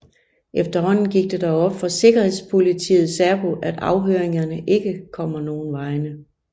Efterhånden går det dog op for sikkerhedspolitiet SÄPO at afhøringerne ikke kommer nogen vegne